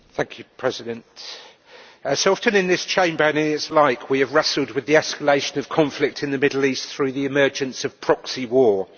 Mr President, as so often in this Chamber and its like, we have wrestled with the escalation of conflict in the Middle East through the emergence of proxy war.